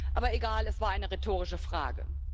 Aber egal, es war eine rhetorische Frage.